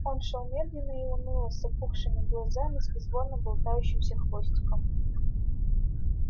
он шёл медленно и уныло с опухшими глазами с безвольно болтающимся хвостиком